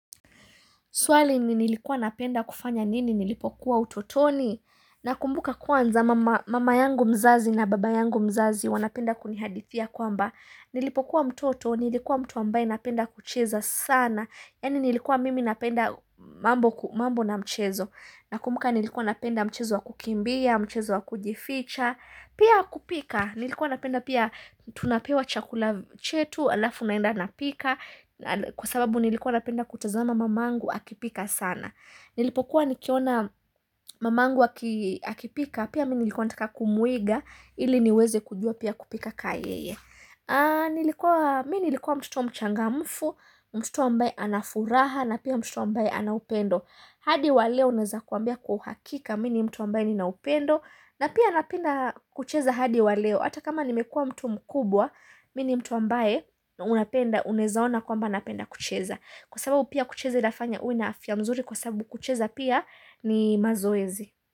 Swali ni nilikuwa napenda kufanya nini nilipokuwa utotoni? Nakumbuka kwanza mama yangu mzazi na baba yangu mzazi wanapenda kunihadithia kwamba Nilipokuwa mtoto, nilikuwa mtu ambaye napenda kucheza sana. Yani nilikuwa mimi napenda mambo na mchezo. Nakumbuka nilikuwa napenda mchezo wa kukimbia, mchezo wa kujificha. Pia kupika, nilikuwa napenda pia tunapewa chakula chetu, alafu naenda napika. Kwa sababu nilikuwa napenda kutazama mama angu akipika sana nilipokuwa nikiona mama angu akipika pia nilikuwa nataka kumuiga ili niweze kujua pia kupika kama yeye nilikuwa mtoto mchangamfu mtoto ambae anafuraha na pia mtoto ambae ana upendo hadi waleo naeza kukwambia kwa uhakika mimi ni mtu ambae ninaupendo na pia napenda kucheza hadi waleo hata kama nimekua mtu mkubwa Mimi ni mtu ambaye unapenda unaezaona kwamba napenda kucheza Kwa sababu pia kucheza inafanya uwe na afya mzuri Kwa sababu kucheza pia ni mazoezi.